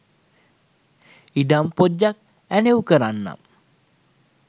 ඉඩම් පොජ්ජක් ඇනව්කරන්නම්.